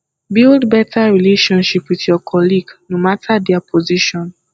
build better relationship with your colleague no matter their position